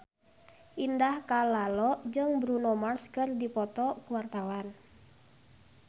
Indah Kalalo jeung Bruno Mars keur dipoto ku wartawan